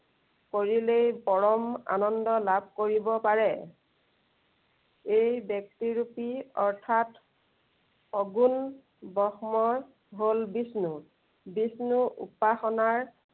কৰিলেই পৰম আনন্দ লাভ কৰিব পাৰে। এই ব্য়ক্তিৰূপী অৰ্থাৎ সগুণ ব্ৰহ্মই হল বিষ্ণু। বিষ্ণুৰ উপাসনাৰ